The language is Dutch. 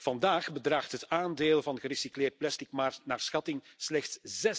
Vandaag bedraagt het aandeel van gerecycleerd plastic naar schatting slechts